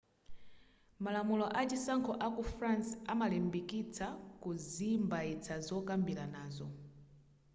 malamulo achisankho aku france amalimbikitsa kuzimbaitsa zokambiranazo